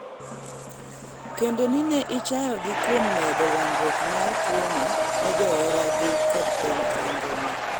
kendo ni ne ichayo gi kuom medo landruok mar tuono ne johera gi kod piny mangima